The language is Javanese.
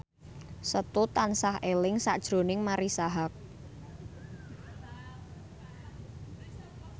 Setu tansah eling sakjroning Marisa Haque